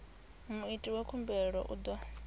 muiti wa khumbelo u ḓo